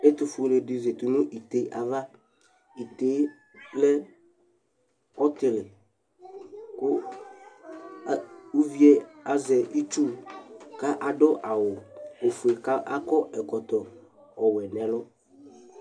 Ɛtʋfʋele dɩ zatɩ nʋ ɩɩte ava Ɩɩte lɛ ɔtɩlɩ kʋ ʋvɩe azɛ ɩtsʋ ka adʋ awʋ ofʋe ka akɔ ɛkɔtɔ ɔwɛ nɛlʋ